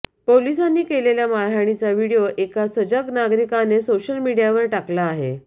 पोलिसांनी केलेल्या मारहाणीचा व्हीडीओ एका सजग नागरिकाने सोशल मीडियावर टाकला आहे